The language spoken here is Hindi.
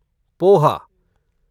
पोहा